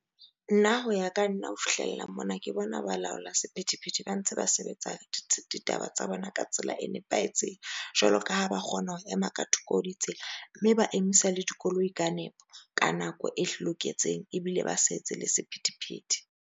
Nna ho ya ka nna ho fihlella mona ke bona balaola sephethephethe ba ntse ba sebetsa ditaba tsa bona ka tsela e nepahetseng. Jwalo ka ha ba kgona ho ema ka thoko ho ditsela mme ba emisa le dikoloi ka nepo ka nako e loketseng ebile ba sa etse le sephethephethe.